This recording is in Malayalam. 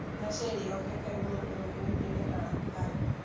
എന്നാ ശരി Okay ഫെഹ്മിൻ നമുക്കിനി പിന്നെ കാണാ Bye